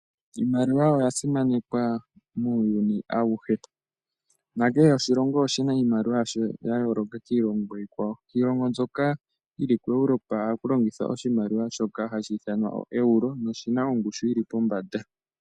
Iimaliwa oya simanekwa muuyuni awuhe. Nakehe oshilongo oshina iimaliwa yasho ya yooloka kiilongo iikwawo. Kiilongo mbyoka yili kuEuropa ohaku longithwa oshimaliwa shoka hashi ithanwa oEuro na oshina ongushu yili pombanda.